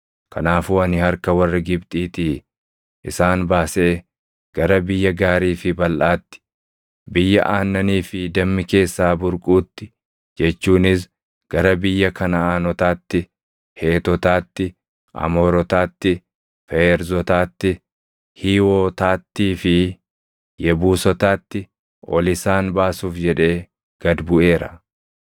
Kanaafuu ani harka warra Gibxiitii isaan baasee gara biyya gaarii fi balʼaatti, biyya aannanii fi dammi keessaa burquutti jechuunis gara biyya Kanaʼaanotaatti, Heetotaatti, Amoorotaatti, Feerzotaatti, Hiiwotaattii fi Yebuusotaatti ol isaan baasuuf jedhee gad buʼeera.